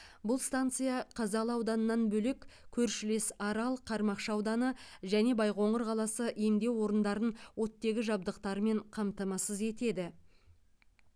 бұл станция қазалы ауданынан бөлек көршілес арал қармақшы ауданы және байқоңыр қаласы емдеу орындарын оттегі жабдықтарымен қамтамасыз етеді